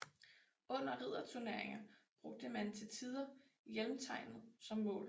Under ridderturneringer brugte man til tider hjelmtegnet som mål